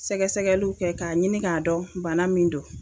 Sɛgɛsɛgɛliw kɛ k'a ɲini k'a dɔn bana min do.